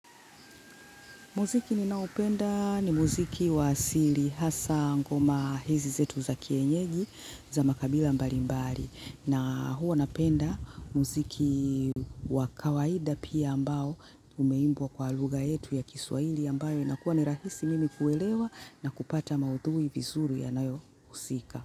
Muziki ninaopenda ni muziki wa asili hasa ngoma hizi zetu za kienyeji za makabila mbalimbali na huwa napenda muziki wa kawaida pia ambao umeimbwa kwa lugha yetu ya kiswaili ambayo inakuwa ni rahisi mimi kuelewa na kupata maudhui vizuri yanayohusika.